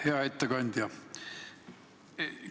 Hea ettekandja!